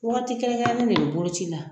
Waati kɛrɛnkɛrɛnnen de bɛ boloci la.